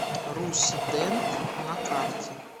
руссдент на карте